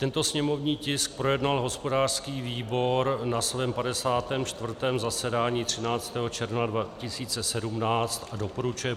Tento sněmovní tisk projednal hospodářský výbor na svém 54. zasedání 13. června 2017 a doporučuje